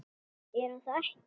Er hún þá ekki.?